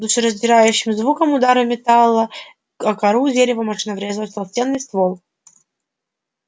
с душераздирающим звуком удара металла о кору дерева машина врезалась в толстенный ствол